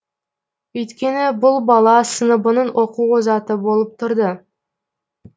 өйткені бұл бала сыныбының оқу озаты болып тұрды